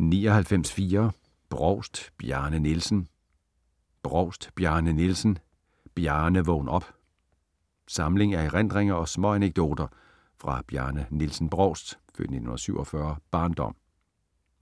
99.4 Brovst, Bjarne Nielsen Brovst, Bjarne Nielsen: Bjarne, vågn op! Samling af erindringer og småanekdoter fra Bjarne Nielsen Brovsts (f. 1947) barndom.